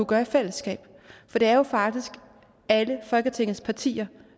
gøre i fællesskab for det er faktisk alle folketingets partier